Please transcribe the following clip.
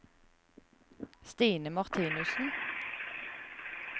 Stine Martinussen